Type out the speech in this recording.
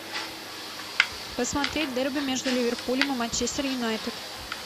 посмотреть дерби между ливерпулем и манчестер юнайтед